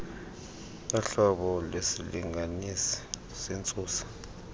yohlobo lwesilinganisi sentsusa